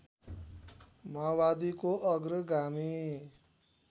माओवादीको अग्रगामी